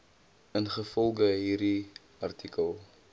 ingevolge hierdie artikel